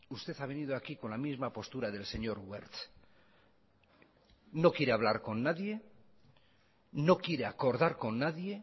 usted ha venido aquí con la misma postura del señor wert no quiere hablar con nadie no quiere acordar con nadie